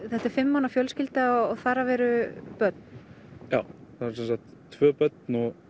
þetta er fimm manna fjölskylda og þar af eru börn já það eru tvö börn